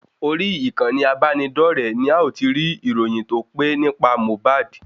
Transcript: Orí ìkànnì abáni dore ni a o ti rí íróyín tó pé nípa Mohba